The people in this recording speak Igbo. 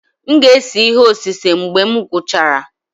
M ga-ese ihe osise mgbe m gwụchara.